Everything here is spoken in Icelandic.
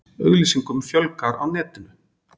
Auglýsingum fjölgar á netinu